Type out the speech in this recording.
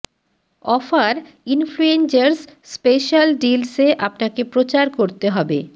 offer influencers special deals এ আপনাকে প্রচার করতে হবে